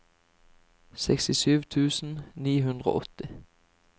sekstisju tusen ni hundre og åtti